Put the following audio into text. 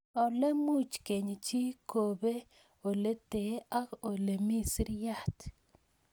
Ole much keeny chii kopee ole tee ak ole mii siriat